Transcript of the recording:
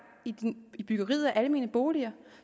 i byggeriet af almene boliger